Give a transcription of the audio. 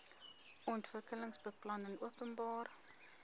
ontwikkelingsbeplanningopenbare